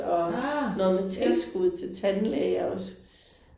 Ah ja